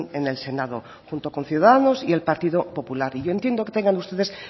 en el senado junto con ciudadanos y el partido popular y yo entiendo que tengan ustedes